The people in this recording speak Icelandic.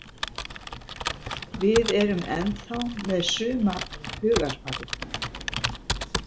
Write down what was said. Við erum ennþá með suma hugarfarið.